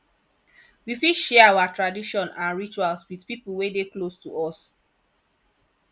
we fit share our tradition and rituals with pipo wey dey close to us